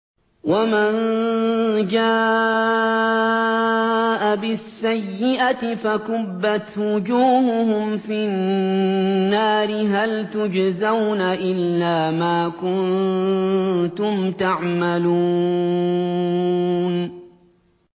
وَمَن جَاءَ بِالسَّيِّئَةِ فَكُبَّتْ وُجُوهُهُمْ فِي النَّارِ هَلْ تُجْزَوْنَ إِلَّا مَا كُنتُمْ تَعْمَلُونَ